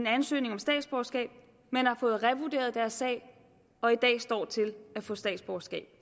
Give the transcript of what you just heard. ansøgning om statsborgerskab men har fået revurderet deres sag og i dag står til at få statsborgerskab